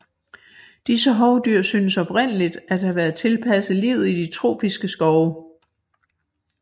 Disse hovdyr synes oprindeligt at have været tilpasset livet i de tropiske skove